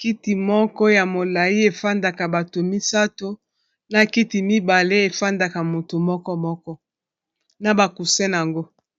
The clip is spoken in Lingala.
kiti moko ya molayi efandaka bato misato na kiti mibale efandaka moto moko moko na ba coussin nango.